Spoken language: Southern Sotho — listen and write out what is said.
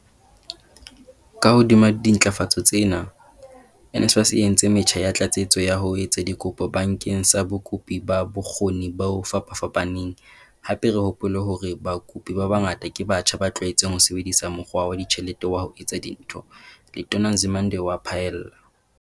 Ka hodima dintlafatso tsena, NSFAS e entse metjha ya tlatsetso ya ho etsa dikopo bakeng sa bakopi ba bokgo ni bo fapafapaneng, hape re hopole hore bakopi ba bangata ke batjha ba tlwaetseng ho sebedisa mokgwa wa dijithale wa ho etsa dintho," Letona Nzimande o a phaella.